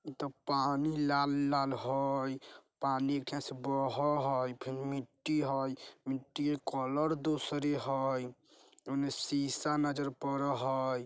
इ त पानी लाल-लाल होय पानी एक ठियां से बोहो होय फिन मिट्टी हई मिट्टी के कलर दूसरे हय उन्ने शीशा नजर परअ हय।